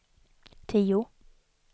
tio